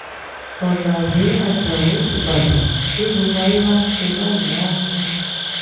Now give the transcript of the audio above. ọ̀làwé ajáò ìbàdàn bí gbogbo ayé bá ń ṣe báyìí á dùn